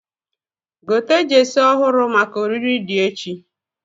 Gote jesi ọhụrụ maka ori di echi